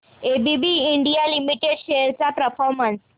ABB India Limited shares चा performance